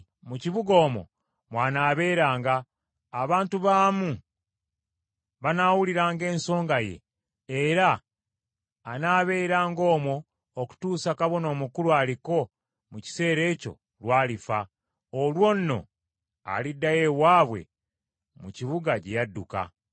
“Mu kibuga omwo mwanaabeeranga, abantu baamu banaawuliranga ensonga ye, era anaabeeranga omwo okutuusa kabona omukulu aliko mu kiseera ekyo, lw’alifa. Olwo nno aliddayo ewaabwe mu kibuga gye yadduka.”